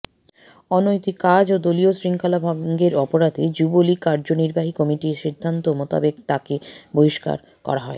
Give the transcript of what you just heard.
অনৈতিক কাজ ও দলীয় শৃঙ্খলা ভঙ্গের অপরাধে যুবলীগ কার্যনির্বাহী কমিটির সিদ্ধান্ত মোতাবেক তাকে বহিষ্কার করা